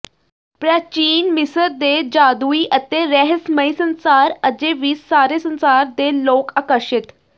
ਪ੍ਰਾਚੀਨ ਮਿਸਰ ਦੇ ਜਾਦੂਈ ਅਤੇ ਰਹੱਸਮਈ ਸੰਸਾਰ ਅਜੇ ਵੀ ਸਾਰੇ ਸੰਸਾਰ ਦੇ ਲੋਕ ਆਕਰਸ਼ਿਤ